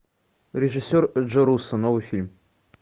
режиссер джо руссо новый фильм